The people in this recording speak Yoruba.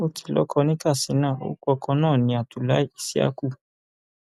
ó ti lọkọ ní katsina orúkọ ọkọ náà ní abdullahi isi yaku